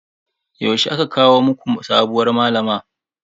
Yaushe aka kawo muku sabuwar malama?